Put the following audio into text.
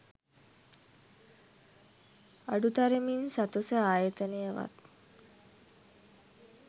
අඩුතරමින් ස.තො.ස. ආයතනයවත්